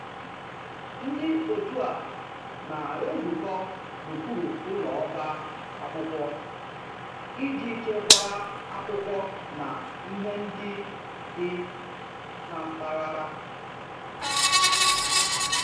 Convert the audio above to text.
Ndị otu a na-ezukọ n'okpuru ụlọ ọba akwụkwọ iji chekwaa akwụkwọ na ihe ndị dị na mpaghara